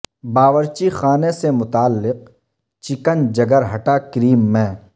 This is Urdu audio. باورچی خانے سے متعلق چکن جگر ھٹا کریم میں